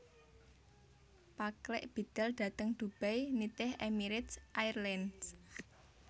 Paklik bidal dhateng Dubai nitih Emirate Airlines